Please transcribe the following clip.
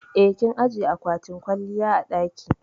Eh, kin ajiƴe aƙwatin kwalliya a daki.